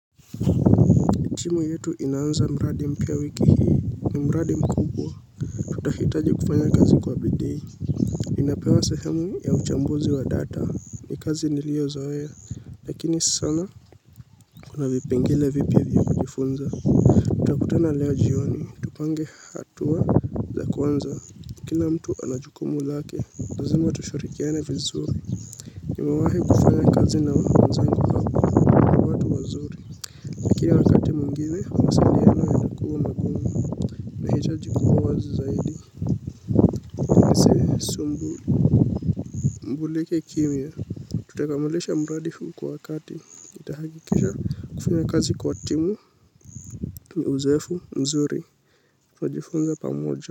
Timu yetu inaanza mradi mpya wiki hii, ni mradi mkubwa. Tutahitaji kufanya kazi kwa bidii. Inapewa sehemu ya uchambuzi wa data. Ni kazi nilio zoea. Lakini sana kuna vipengele vipya vya kujifunza. Utakutana leo jioni. Tupange hatua za kwanza. Kila mtu ana jukumu lake. Lazima tushirikiane vizuri. Nimewahi kufanya kazi na mzungu hapa. Lakini wakati mwingine, mawasiliano yalikuwa magumu Mbulike kimya. Tutakamilisha mradi huu kwa wakati tutahakikisha kufanya kazi kwa timu ni uzoefu mzuri tunajifunza pamoja.